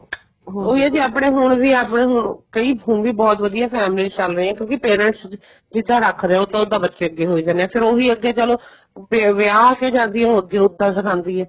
ਉਹੀ ਏ ਜੀ ਆਪਣੇ ਹੁਣ ਵੀ ਆਪਣੇ ਕਈ ਹੁਣ ਵੀ ਬਹੁਤ ਵਧੀਆ families ਚੱਲ ਰਹੀਆਂ ਕਿਉਂਕਿ parents ਜਿਸ ਤਰ੍ਹਾਂ ਰੱਖਦੇ ਏ ਉਸ ਤਰ੍ਹਾਂ ਬੱਚੇ ਅੱਗੇ ਹੋਈ ਜਾਨੇ ਏ ਫੇਰ ਉਹੀ ਅੱਗੇ ਚਲੋ ਵਿਆਹ ਕੇ ਜਾਂਦੀ ਏ ਉੱਦਾਂ ਉੱਦਾਂ ਸਿਖਾਉਂਦੀ ਏ